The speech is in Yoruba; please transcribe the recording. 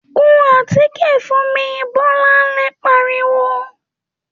‘Kun àtíkè fún mi!’, Bó̩láńlé pariwo